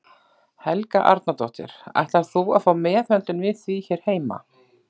Helga Arnardóttir: Ætlar þú að fá meðhöndlun við því hér heima?